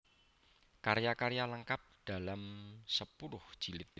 Karya karya lengkap dalam sepuluh jilid